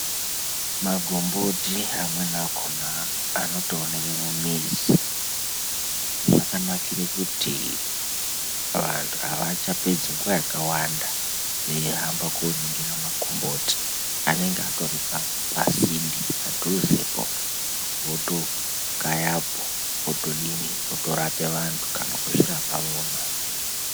Makomboti amweni akona anotoenekwa mumizi zvakanakira kuti vandu avachapedzi nguva yakawanda veihamba koningira makomboti anenge atori pasinde votokayapo votodii votorape vandu kana kuzvirapa vona.